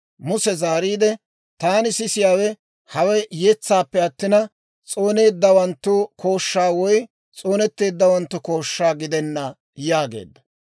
Muse zaariide, «Taani sisiyaawe hawe yetsaappe attina, s'ooneeddawanttu kooshshaa woy s'oonetteeddawanttu kooshshaa gidenna» yaageedda.